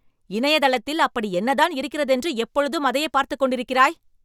இணையதளத்தில் அப்படி என்னதான் இருக்கிறதென்று எப்பொழுதும் அதையே பார்த்துக் கொண்டிருக்கிறாய்?